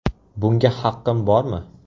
Bunga haqqim bormi?